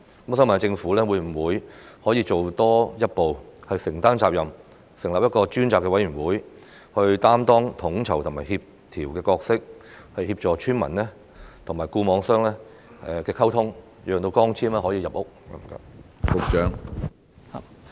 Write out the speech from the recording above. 我想問政府能否多行一步，承擔責任，成立一個專責委員會擔當統籌和協調的角色，協助村民和固網商溝通，讓光纖可以入屋？